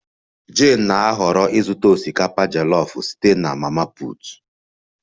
Jane na-ahọrọ ịzụta osikapa jollof site na mama put